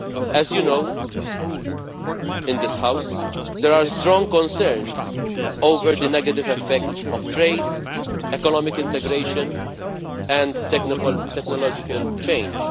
As you know, in this House there are strong concerns over the negative effects of trade, economic integration and technological change.